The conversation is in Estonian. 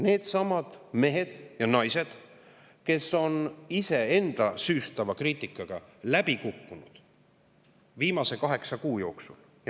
Needsamad mehed ja naised on iseenda süüstava kriitikaga läbi kukkunud viimase kaheksa kuu jooksul.